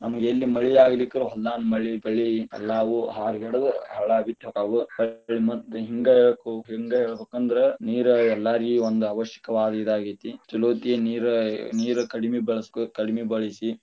ನಮ್ಗ ಎಲ್ಲಿ ಮಳಿ ಆಗ್ಲಿಕರ ಹೊಲದಾನ ಮಳಿ ಪಳಿ ಎಲ್ಲಾವು ಹಾರಗೆಡದ ಹೊಳ್ಳಿ ಮತ್ತ ಹಿಂಗ ಹೇಳ್ಬೇಕಂದ್ರ, ನೀರ ಎಲ್ಲರಿಗ ಒಂದ ಅವಶ್ಯಕವಾದ ಇದ ಆಗೇತಿ, ಚೊಲೊತ್ತೆ ನೀರ ಕಡಿಮೆ ಬಳಸಬೇಕ ಕಡಿಮಿ ಬಳಸಿ.